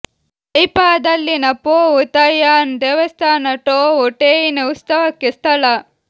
ತೈಪಾದಲ್ಲಿನ Pou Tai Un ದೇವಸ್ಥಾನ ಟೊವು ಟೆಯಿನ ಉತ್ಸವಕ್ಕೆ ಸ್ಥಳ